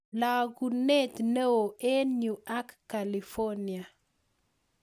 Lagunet neo eng yuu ak california